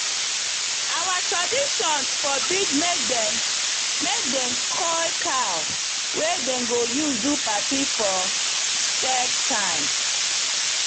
our tradition forbid make dem make dem coil cow wey dem go use do party for scared time